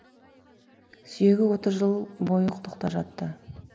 сүйегі отыз жыл бойы құдықта жатты